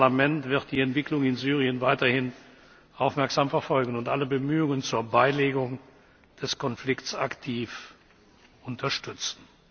Unser Parlament wird die Entwicklung in Syrien weiterhin aufmerksam verfolgen und alle Bemühungen zur Beilegung des Konflikts aktiv unterstützen.